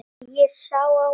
Og ég á mig sjálf!